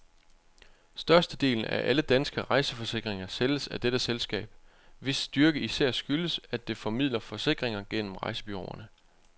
Størstedelen af alle danske rejseforsikringer sælges af dette selskab, hvis styrke især skyldes, at det formidler forsikringer gennem rejsebureauerne.